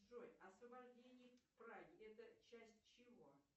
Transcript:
джой освобождение праги это часть чего